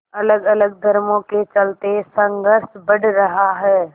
अलगअलग धर्मों के चलते संघर्ष बढ़ रहा है